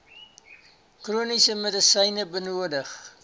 chroniese medisyne benodig